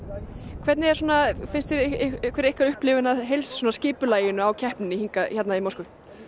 hvernig er ykkar upplifun af skipulaginu